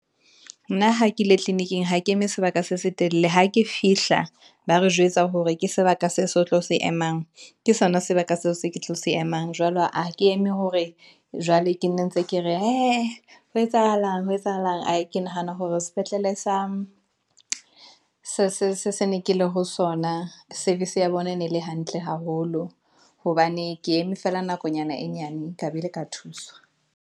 Nna ha ke le tleliniking, ha ke eme sebaka se setelele, ha ke fihla ba re jwetsa hore ke sebaka se se tlo se emang, ke sona sebaka seo se ke tlo se emang, jwalo ha ke eme hore jwale ke nne ntse ke re hee ho etsahalang, aa ke nahana hore sepetlele sa se ne ke le ho sona. Service ya bona e ne le hantle haholo, hobane ke eme feela nakonyana e nyane ka be le ka thuswa.